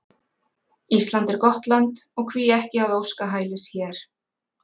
Ísland er gott land og hví ekki að óska hælis hér?